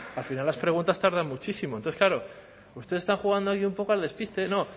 al final las preguntas tardan muchísimo entonces claro usted está jugando hoy un poco al despiste no